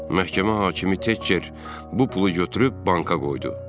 Məhkəmə hakimi Tekker bu pulu götürüb banka qoydu.